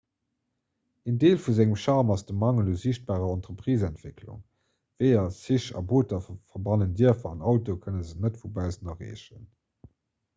een deel vu sengem charme ass de mangel u siichtbarer entrepriseentwécklung weeër zich a booter verbannen d'dierfer an autoe kënne se net vu baussen erreechen